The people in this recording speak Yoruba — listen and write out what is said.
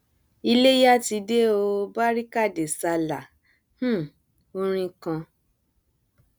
iléya ti dé o barika de sallah um orin kan